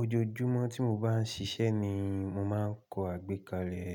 Ojoojúmọ́ tí mo bá ń ṣiṣẹ́ ni mo máa ń kọ àgbékalẹ̀,